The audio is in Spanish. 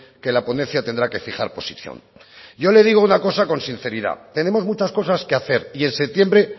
que la ponencia tendrá que fijar posición yo le digo una cosa con sinceridad tenemos muchas cosas que hacer y en septiembre